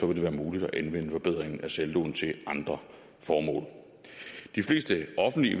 vil det være muligt at anvende forbedringen af saldoen til andre formål de fleste offentlige